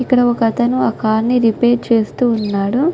ఇక్క్కడ ఒక అతను కార్ ని రిపేర్ చేస్తూ ఉన్నాడు .